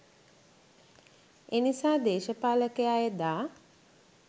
එනිසා දේශපාලකයා එදා